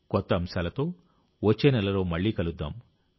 కొత్త అంశాలతో వచ్చే నెలలో మళ్లీ కలుద్దాం